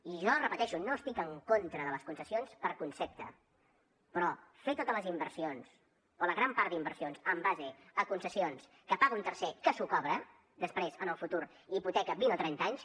i jo ho repeteixo no estic en contra de les concessions per concepte però fer totes les inversions o la gran part d’inversions en base a concessions que paga un tercer que s’ho cobra després en el futur i hipoteca vint o trenta anys